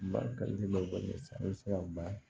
Bakarijan bɛ wale sa i bɛ se ka ba